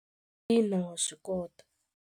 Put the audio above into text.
Xana u kota ku swi nuheta loko ntswamba wu dzungela?